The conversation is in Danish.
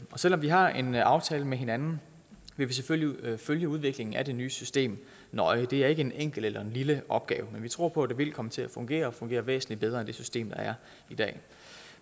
selv om vi har en aftale med hinanden vil vi selvfølgelig følge udviklingen af det nye system nøje det er ikke en enkel eller en lille opgave men vi tror på at det vil komme til at fungere og fungere væsentlig bedre end det system der er i dag